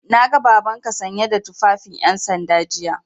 Na ga Babanka sanye da tufafin 'yansanda jiya.